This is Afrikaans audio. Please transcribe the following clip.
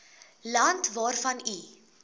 land waarvan u